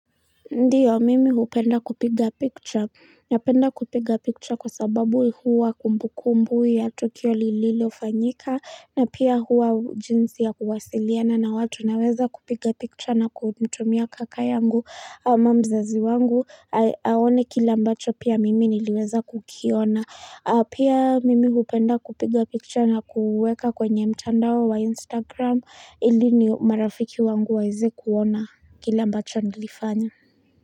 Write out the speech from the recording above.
Ndiyo, mimi hupenda kupiga picture, napenda kupiga picture kwa sababu huwa kumbu kumbu ya Tukio lililo fanyika, na pia huwa jinsi ya kuwasiliana na watu naweza kupiga picture na kutumia kaka yangu, ama mzazi wangu, aone kile ambacho pia mimi niliweza kukiona, pia mimi hupenda kupiga picture na kuweka kwenye mtandao wa Instagram, ili ni marafiki wangu waeze kuona kile ambacho nilifanya.